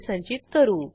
आता पुस्तक परत करू